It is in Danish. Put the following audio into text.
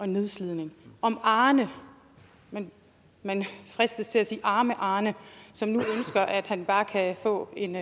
nedslidning og arne man fristes til at sige arme arne som nu ønsker at han bare kan få en